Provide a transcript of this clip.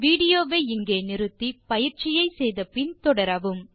video வை நிறுத்தி பயிற்சியை முடித்த பின் தொடரவும்